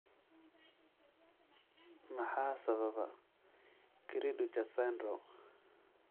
Maxaa sababa cri du chat syndrome?